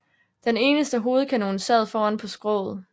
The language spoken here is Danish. Den eneste hovedkanon sad foran på skroget